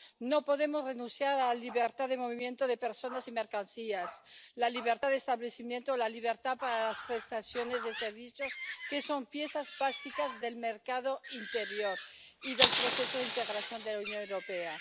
No podemos renunciar a la libertad de circulación de personas y mercancías, la libertad de establecimiento, la libertad para las prestaciones de servicios, que son piezas básicas del mercado interior y del proceso de integración de la Unión Europea.